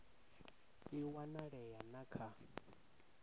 i a wanalea na kha